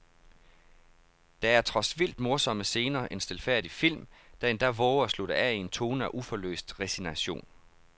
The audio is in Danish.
Der er trods vildt morsomme scener en stilfærdig film, der endda vover at slutte af i en tone af uforløst resignation.